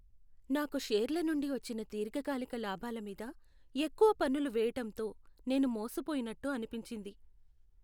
నాకు షేర్ల నుండి వచ్చిన దీర్ఘకాలిక లాభాల మీద ఎక్కువ పన్నులు వేయటంతో నేను మోసపోయినట్టు అనిపించింది.